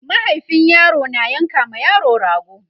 mahaifin yaro na yanka ma yaro rago